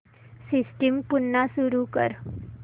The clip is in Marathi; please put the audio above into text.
सिस्टम पुन्हा सुरू कर